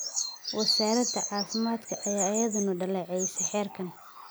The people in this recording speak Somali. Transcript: Wasaaradda caafimaadka ayaa iyaduna dhaleecaysay xeerkan.